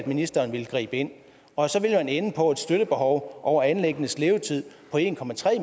ministeren ville gribe ind og så ville man ende på et støttebehov over anlæggenes levetid på en